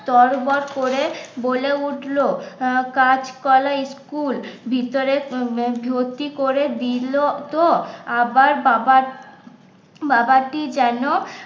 তড়বড় করে বলে উঠলো আহ কাঁচকলা স্কুল ভিতরে ভর্তি করে দিলো তো আবার বাবার বাবাটি যেন